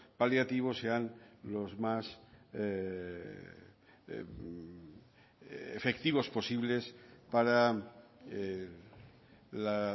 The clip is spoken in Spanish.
paliativos sean los más efectivos posibles para la